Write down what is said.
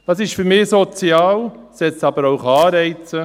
Es ist für mich sozial, setzt aber auch Anreize.